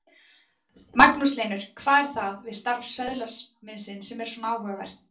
Magnús Hlynur: Hvað er það við starf söðlasmiðsins sem er svona áhugavert?